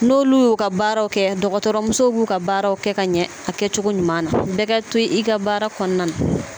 N'olu y'u ka baaraw kɛ dɔgɔtɔrɔmusow b'u ka baaraw kɛ ka ɲɛ a kɛcogo ɲuman na bɛɛ ka to i ka baara kɔnɔna na